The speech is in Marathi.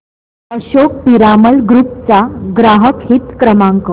अशोक पिरामल ग्रुप चा ग्राहक हित क्रमांक